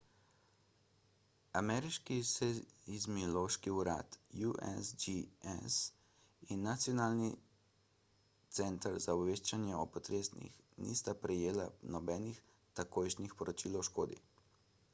ameriški seizmološki urad usgs in nacionalni center za obveščanje o potresih nista prejela nobenih takojšnjih poročil o škodi